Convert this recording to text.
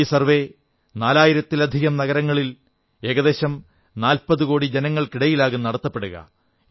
ഈ സർവ്വേ നാലായിരത്തിലധികം നഗരങ്ങളിൽ ഏകദേശം നാൽപ്പതുകോടി ജനങ്ങൾക്കിടയിലാകും നടത്തപ്പെടുക